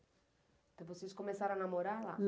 Então, vocês começaram a namorar lá?